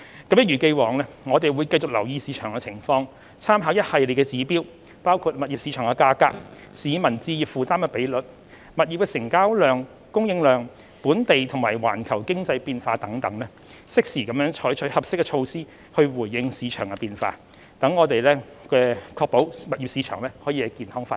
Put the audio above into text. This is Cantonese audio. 一如既往，政府會繼續留意市場情況，參考一系列指標，包括物業市場價格、市民置業負擔比率、物業成交量和供應量、本地和環球經濟變化等，適時採取合適的措施回應市場變化，確保物業市場健康發展。